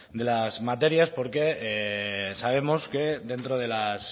de las materias porque sabemos que dentro de las